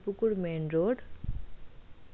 পুকুর main road.